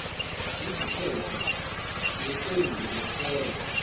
iziphetho ngeqembu kwesekwa